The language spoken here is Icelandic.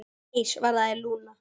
Nei, svaraði Lúna.